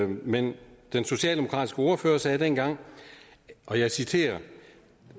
men den socialdemokratiske ordfører sagde dengang og jeg citerer